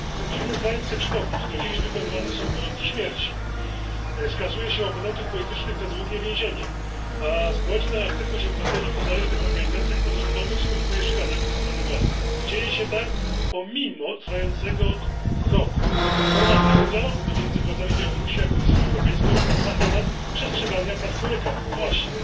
W tym drugim kraju chcę przypomnieć do dziś wykonywane są wyroki śmierci. Oponentów politycznych skazuje się na długie więzienia, a społeczna aktywność obywateli w niezależnych organizacjach pozarządowych skutkuje szykanami ze strony władzy, i dzieje się tak pomimo trwającego od roku formalnego dialogu pomiędzy władzami Białorusi a Komisją Europejską na temat przestrzegania praw człowieka właśnie.